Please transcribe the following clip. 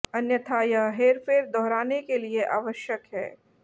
अन्यथा यह हेरफेर दोहराने के लिए आवश्यक है